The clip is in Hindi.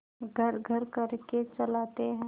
घर्रघर्र करके चलाते हैं